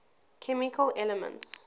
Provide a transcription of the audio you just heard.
chemical elements